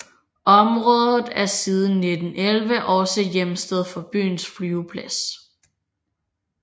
Området er siden 1911 også hjemsted for byens flyveplads